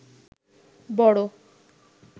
বড়